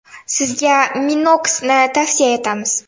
Sizga Minox ’ni tavsiya etamiz!